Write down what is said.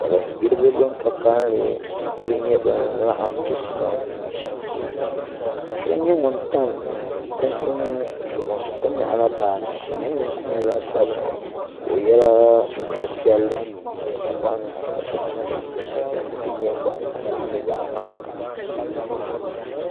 Salin gbiribi bin ka kanli n nyɛ bin laɣam chisi mam ka do nyɛ ŋun tam kunkun zuɣu ka nyaɣala baaji ka o nin gbuni kom nyɛ zaɣ sabinli ka o yɛla sitiri piɛlli din nyɛ boɣa ŋmahi ka so jinjɛm piɛlli din nyɛ zaɣ ŋmahi